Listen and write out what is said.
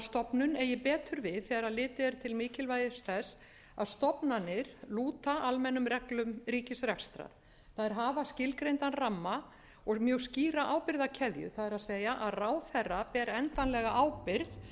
stofnun eigi betur við þegar litið er til mikilvægis þess að stofnanir lúta almennum reglum ríkisrekstrar þær hafa skilgreindan ramma og mjög skýra ábyrgðarkeðju það er að ráðherra ber endanlega ábyrgð